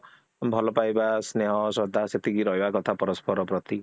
ଭଲ ପାଇବା, ସ୍ନେହ, ଶ୍ରଦ୍ଧା ସେତିକି ରହିବା କଥା ପରସ୍ପର ପ୍ରତି